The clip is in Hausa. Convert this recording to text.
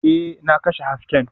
Ee, na kashe hasken